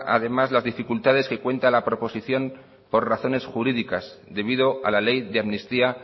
además las dificultades que cuenta la proposición por razones jurídicas debido a la ley de amnistía